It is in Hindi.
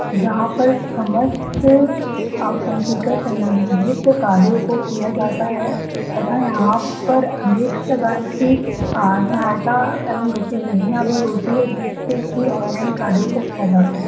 जहाँ पर समस्त अ कंप्यूटर सम्बन्धित कार्यों को किया जाता है तथा यहाँ पर अनेक प्रकार की अ सहायता एवं गतिविधयां भी होती है जिससे कि ऑनलाइन कार्यों को किया जा सके।